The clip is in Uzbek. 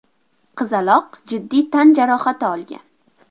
Qizaloq jiddiy tan jarohati olgan.